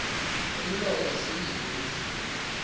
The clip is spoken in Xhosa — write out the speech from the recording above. umlomo zimbini izinto